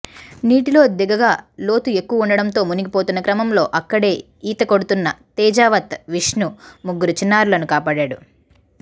నీటిలో దిగగా లోతు ఎక్కువగా ఉండడంతో మునిగిపోతున్న క్రమంలో అక్కడే ఈత కొడుతున్న తేజావత్ విష్ణు ముగ్గురు చిన్నారులను కాపాడాడు